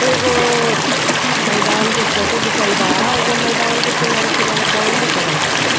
एगो मैंदान के फोटो घिचल बा एगो मैंदान में किनारे-किनारे बाउंड्री करल बा।